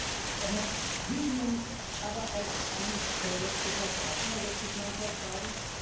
Aber Libyen als ein verlässlicher Partner, wird sich mancher fragen?